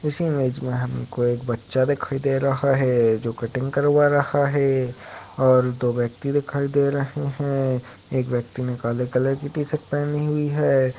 इस इमेज मे हमको एक बच्चा दिखाई दे रहा है जो कटिंग करवा रहा है और दो व्यक्ति दिखाई दे रहे हैं एक व्यक्ति ने काले कलर के टी-शर्ट पहनी हुई है।